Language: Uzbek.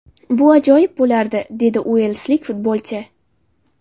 Bu ajoyib bo‘lardi”, – dedi uelslik futbolchi.